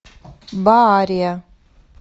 баария